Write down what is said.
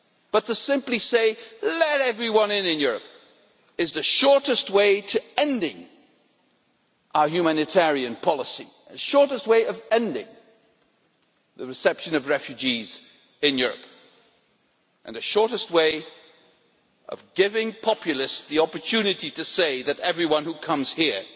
But to simply say, let everyone into Europe' is the shortest way to ending our humanitarian policy, the shortest way to ending the reception of refugees in Europe and the shortest way to giving populists the opportunity to say that everyone who comes here